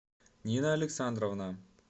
нина александровна